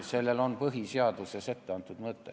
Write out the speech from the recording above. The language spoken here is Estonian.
See mõte on põhiseaduses ette antud.